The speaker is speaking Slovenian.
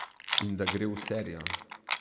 In da gre v serijo.